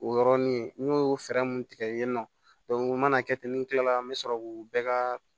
O yɔrɔnin n y'o fɛɛrɛ mun tigɛ yen nɔ u mana kɛ ten ni kila la n bɛ sɔrɔ k'u bɛɛ ka